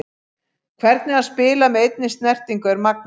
Hvernig hann spilar með einni snertingu er magnað.